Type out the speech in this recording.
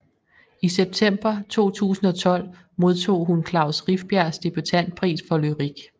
I september 2012 modtog hun Klaus Rifbjergs debutantpris for lyrik